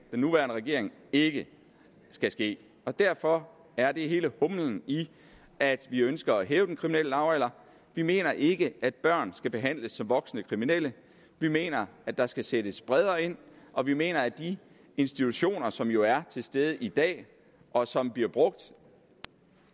nuværende regering ikke skal ske derfor er det hele humlen i at vi ønsker at hæve den kriminelle lavalder vi mener ikke at børn skal behandles som voksne kriminelle vi mener at der skal sættes bredere ind og vi mener at de institutioner som jo er til stede i dag og som bliver brugt